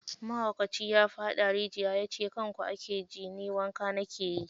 Mahaukaci ya faɗa rijiya ya ce kanku ake ji, ni wanka na na ke yi.